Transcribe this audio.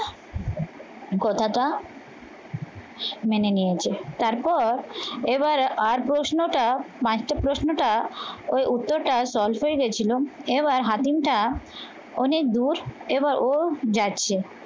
কথাটা মেনে নিয়েছে তারপর এবারে আর প্রশ্নটা বাইশটা প্রশ্নটা ওই উত্তরটা solve হয়ে গেছিল। এবার হাতিমটা অনেক দূর এবার ও যাচ্ছে